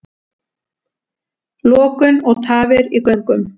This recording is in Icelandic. Lokun og tafir í göngum